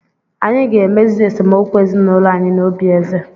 Anyị ga-emezi esemokwu ezinụlọ anyị n'obi eze.